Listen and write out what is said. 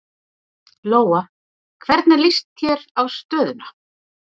Lóa: Hvernig líst þér á stöðuna?